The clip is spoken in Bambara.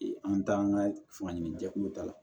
An taa an ka fan ɲini jɛkulu ta la